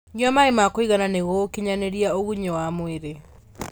Nyua maĩ ma kũigana nĩguo gũkinyanĩrĩa ũgunyu wa mwĩrĩ